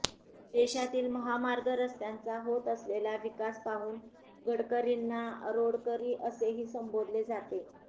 देशातील महामार्ग रस्त्यांचा होत असलेला विकास पाहून गडकरींना रोडकरी असेही संबोधले जाते